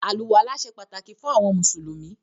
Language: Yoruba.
“Àlùwàlá” se pàtàkì fún àwọn mùsùlùmí.